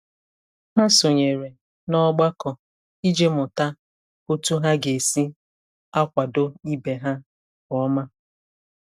Ha sonyere na ogbako iji mụta otu ha ga-esi akwado ibe ha nke ọma.